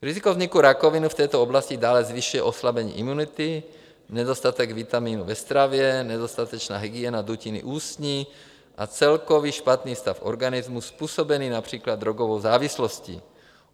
Riziko vzniku rakoviny v této oblasti dále zvyšuje oslabení imunity, nedostatek vitamínů ve stravě, nedostatečná hygiena dutiny ústní a celkový špatný stav organismu, způsobený například drogovou závislostí.